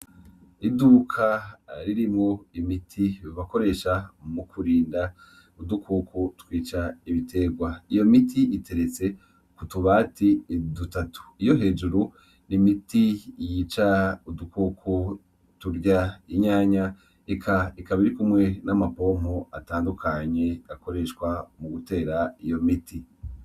Iduka ririmwo imiti bakoresha mu kurinda udukoko twica ibitegwa. Iyo miti iteretse ku tubati dutatu. Iyo hejuru ni imiti yica udukoko turya inyanya, ikaba iri kumwe n'amapompo atandukanye akoreshwa mu gutera iyo miti.